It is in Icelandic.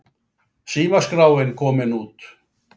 Símaskráin komin út